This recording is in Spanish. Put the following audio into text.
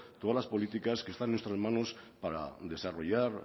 todas las políticas que está en nuestras manos para desarrollar